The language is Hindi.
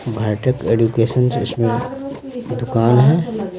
भाटक एजुकेशन जिसमें दुकान है।